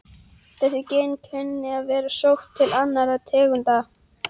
Þessi gen kunna að vera sótt til annarra tegunda.